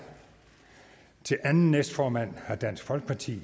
til anden næstformand har dansk folkepartis